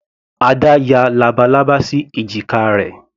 Ada ya labalábá sí èjìká rẹ̀.